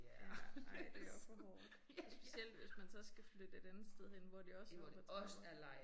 Ja ej det også for hårdt. Og specielt hvis man så skal flytte et andet sted hen hvor det også er op ad trapper